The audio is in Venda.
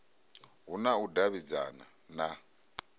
hu na u davhidzana na